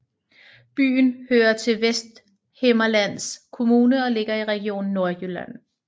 Byen hører til Vesthimmerlands Kommune og ligger i Region Nordjylland